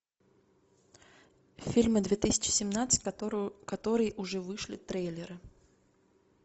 фильмы две тысячи семнадцать которые уже вышли трейлеры